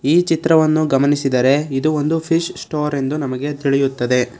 ಈ ಚಿತ್ರವನ್ನು ಗಮನಿಸಿದರೆ ಇದು ಒಂದು ಫಿಶ್ ಸ್ಟೋರ್ ಎಂದು ನಮಗೆ ತಿಳಿಯುತ್ತದೆ.